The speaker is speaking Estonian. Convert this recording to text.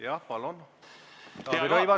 Jah, palun, Taavi Rõivas!